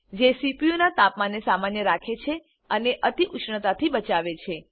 જે સીપીયુનાં તાપમાનને સામાન્ય રાખે છે અને અતિઉષ્ણતાથી બચાવે છે